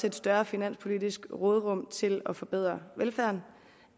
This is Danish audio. et større finanspolitisk råderum til at forbedre velfærden